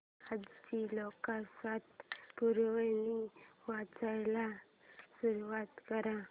आजची लोकसत्ता पुरवणी वाचायला सुरुवात कर